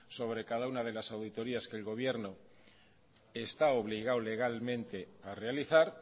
sobre cada una de las auditorías que el gobierno está obligado legalmente a realizar